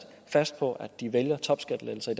fast på at de vælger topskattelettelser